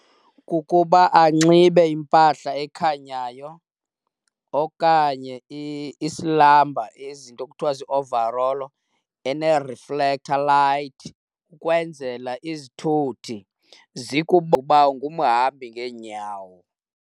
Kukuba anxibe impahla ekhanyayo okanye isilamba, izinto kuthiwa zii-overall ene-reflector light ukwenzela izithuthi uba ungumhambi ngeenyawo.